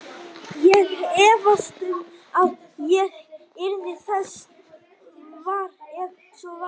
Ég efast um að ég yrði þess var, ef svo væri